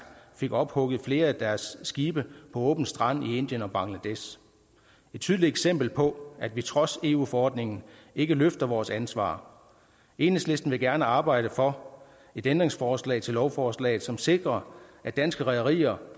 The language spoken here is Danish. fik ophugget flere af deres skibe på åben strand i indien og bangladesh et tydeligt eksempel på at vi trods eu forordningen ikke løfter vores ansvar enhedslisten vil gerne arbejde for et ændringsforslag til lovforslaget som sikrer at danske rederier